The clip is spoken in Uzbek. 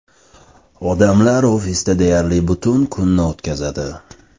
Odamlar ofisda deyarli butun kunni o‘tkazadi.